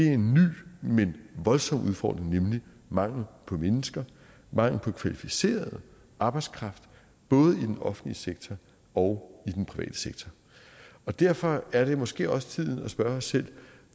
en ny men voldsom udfordring nemlig mangel på mennesker mangel på kvalificeret arbejdskraft både i den offentlige sektor og i den private sektor og derfor er det måske også tiden at spørge os selv